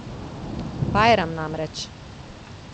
Bajram namreč.